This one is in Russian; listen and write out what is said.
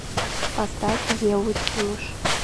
поставь еву тимуш